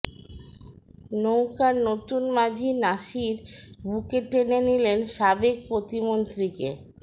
নৌকার নতুন মাঝি নাসির বুকে টেনে নিলেন সাবেক প্রতিমন্ত্রীকে